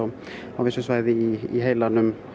á vissum svæðum í heilanum